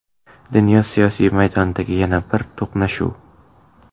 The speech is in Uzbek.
Dunyo siyosiy maydonidagi yana bir to‘qnashuv.